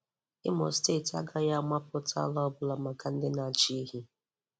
Imo Imo Steeti agaghị amapụta ala ọbụla maka ndị na-achị ehi.